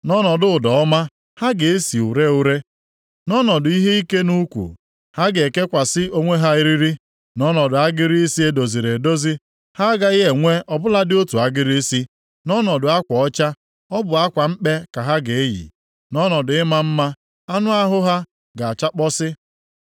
Nʼọnọdụ ụda ọma, ha ga-esi ure ure; nʼọnọdụ ihe ike nʼukwu, ha ga-ekekwasị onwe ha eriri; nʼọnọdụ agịrị isi e doziri edozi, ha agaghị enwe ọ bụladị otu agịrị isi; nʼọnọdụ akwa ọcha, ọ bụ akwa mkpe ka ha ga-eyi; nʼọnọdụ ịma mma, anụ ahụ ha ga-achakpọsị.